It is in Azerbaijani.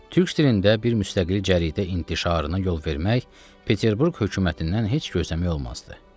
Türk dilində bir müstəqil cəridə intişarına yol vermək Peterburq hökumətindən heç gözləmək olmazdı.